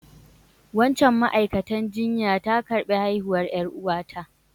Wancan ma'aikatan jinya ta karbi haihuwan yar'uwa ta.